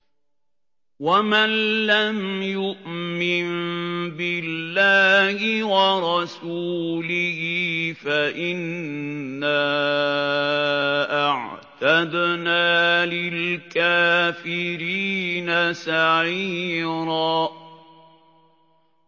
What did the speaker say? وَمَن لَّمْ يُؤْمِن بِاللَّهِ وَرَسُولِهِ فَإِنَّا أَعْتَدْنَا لِلْكَافِرِينَ سَعِيرًا